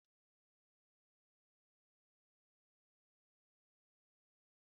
Enyi m Tony mere ihe ọchị mere ka anyị niile chịa oké ọchị.